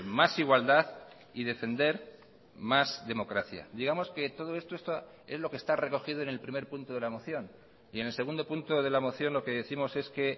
más igualdad y defender más democracia digamos que todo esto es lo que está recogido en el primer punto de la moción y en el segundo punto de la moción lo que décimos es que